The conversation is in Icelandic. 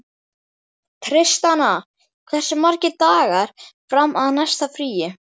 Tristana, hversu margir dagar fram að næsta fríi?